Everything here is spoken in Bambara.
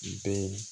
Bɛ